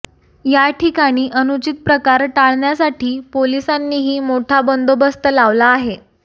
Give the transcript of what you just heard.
याठिकाणी अनुचित प्रकार टाळण्यासाठी पोलिसांनीही मोठा बंदोबस्त लावला आहे